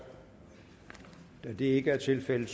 da det ikke er tilfældet